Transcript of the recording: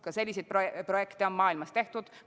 Ka selliseid projekte on maailmas tehtud.